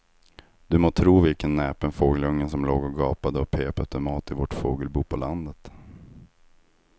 Du må tro vilken näpen fågelunge som låg och gapade och pep efter mat i vårt fågelbo på landet.